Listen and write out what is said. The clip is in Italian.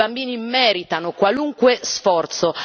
I bambini meritano qualunque sforzo.